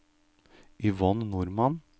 Yvonne Normann